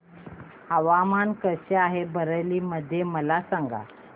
हवामान कसे आहे बरेली मध्ये मला सांगा